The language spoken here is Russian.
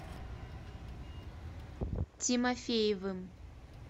тимофеевым